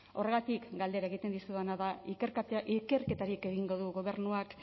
horregatik galdera egiten dizudana da ikerketarik egingo du gobernuak